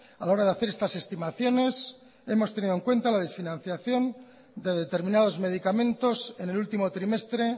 a la hora de hacer estas estimaciones hemos tenido en cuenta la desfinanciación de determinados medicamentos en el último trimestre